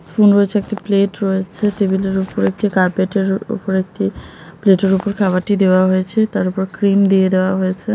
সুন্দর একটা প্লেট রয়েছে টেবিল -এর উপর একটি কার্পেট -এর উপর একটি প্লেট -এর উপর খাবারটি দেওয়া হয়েছে তারপর ক্রিম দিয়ে দেওয়া হয়েছে ।